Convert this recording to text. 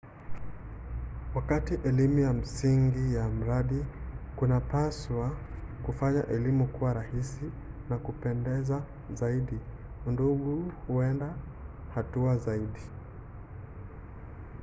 wakati elimu ya msingi wa mradi kunapaswa kufanya elimu kuwa rahisi na ya kupendeza zaidi udungu huenda hatua zaidi